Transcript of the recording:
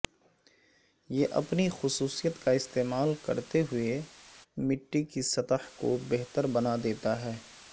یہ اپنی خصوصیت کا استعمال کرتے ہوئے مٹی کی سطح کو بہتر بنا دیتا ہے